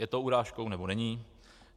Je to urážkou, nebo není?